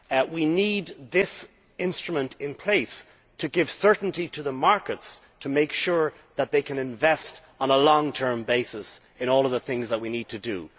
We need this instrument in place to give certainty to the markets to make sure that they can invest on a long-term basis in all of the things that we need to do.